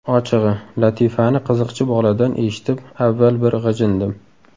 Ochig‘i, latifani qiziqchi boladan eshitib avval bir g‘ijindim.